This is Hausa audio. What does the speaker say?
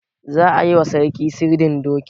Za a yi wa sarki sirdin doki.